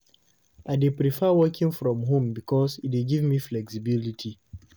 I dey prefer working from home because e dey give me flexibility.